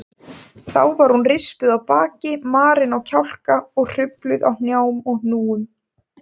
Þá var hún rispuð á baki, marin á kjálka og hrufluð á hnjám og hnúum.